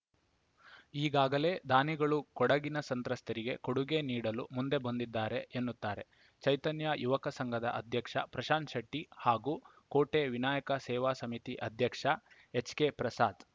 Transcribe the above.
ಈಗಾಗಲೇ ದಾನಿಗಳು ಕೊಡಗಿನ ಸಂತ್ರಸ್ತರಿಗೆ ಕೊಡುಗೆ ನೀಡಲು ಮುಂದೆ ಬಂದಿದ್ದಾರೆ ಎನ್ನುತ್ತಾರೆ ಚೈತನ್ಯಯುವಕ ಸಂಘದ ಅಧ್ಯಕ್ಷ ಪ್ರಶಾಂತಶೆಟ್ಟಿಹಾಗೂ ಕೋಟೆ ವಿನಾಯಕ ಸೇವಾ ಸಮಿತಿ ಅಧ್ಯಕ್ಷ ಎಚ್‌ಕೆಪ್ರಸಾದ್‌